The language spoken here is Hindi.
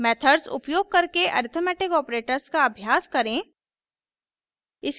मेथड्स उपयोग करके अरिथ्मेटिक ऑपरेटर्स का अभ्यास करें